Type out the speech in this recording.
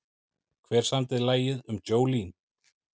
Hver samdi lagið um Jolene?